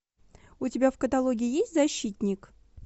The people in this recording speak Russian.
у тебя в каталоге есть защитник